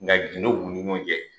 Nka gindo b'u ni ɲɔgɔn cɛ